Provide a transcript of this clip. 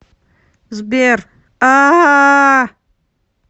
сбер аааа